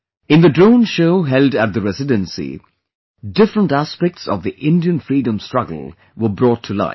In the Drone Show held at the Residency , different aspects of the Indian freedom struggle were brought to life